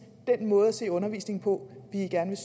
den måde at se undervisningen på vi gerne